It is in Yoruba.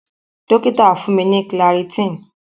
Dokita fun mi ni clarityn.